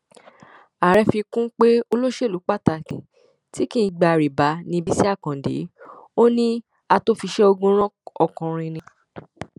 ààrẹ fi kún un pé olóṣèlú pàtàkì tí kì í gba rìbá ní bísí àkàndé ò ní àtòòfiṣéogunran ọkùnrin ni